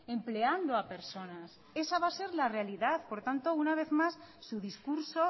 empleando a personas esa va a ser la realidad por lo tanto una vez más su discurso